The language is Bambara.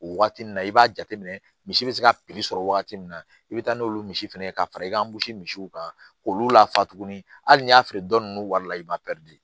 O wagati nin na i b'a jateminɛ misi bɛ se ka piri sɔrɔ wagati min na i bɛ taa n'olu misi fɛnɛ ye ka fara i ka misiw kan k'olu lafa tuguni hali n'i y'a feere dɔ ninnu wari la i b'a